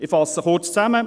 Ich fasse kurz zusammen: